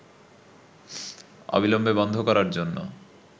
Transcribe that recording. অবিলম্বে বন্ধ করার জন্য